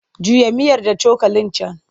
Juya miyar da cokalin can!